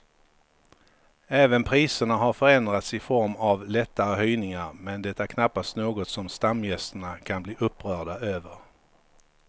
Även priserna har förändrats i form av lättare höjningar men det är knappast något som stamgästerna kan bli upprörda över.